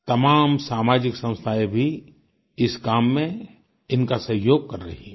तमाम सामाजिक संस्थाएं भी इस काम में इनका सहयोग कर रही हैं